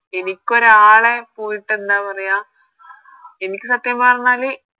എനിക്കൊരാളെ പോയിട്ട് എന്താ പറയാ എനിക്ക് സത്യം പറഞ്ഞാല്